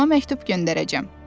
Atama məktub göndər.